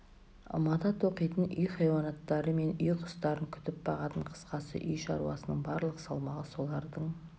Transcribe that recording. мата тоқитын үй хайуандары мен үй құстарын күтіп бағатын қысқасы үй шаруасының барлық салмағы солардың